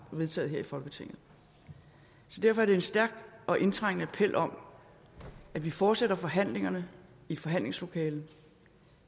vedtaget her i folketinget så derfor er det en stærk og indtrængende appel om at vi fortsætter forhandlingerne i forhandlingslokalet